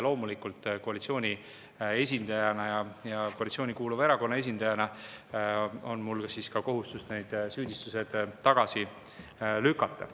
Loomulikult on koalitsiooni esindajana ja koalitsiooni kuuluva erakonna esindajana mul kohustus need süüdistused tagasi lükata.